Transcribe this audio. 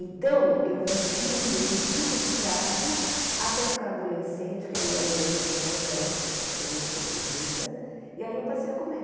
Então, eu vivi um período muito complicado até ficar adolescente, que aí o adolescente é rebelde, é diferente da criança, e aí eu passei a comer.